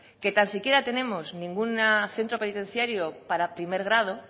que tan siquiera tenemos ningún centro penitenciario para primer grado